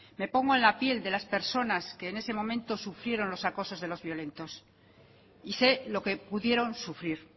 me pongo en la piel de las personas que en ese momento sufrieron los acosos de los violentos y sé lo que pudieron sufrir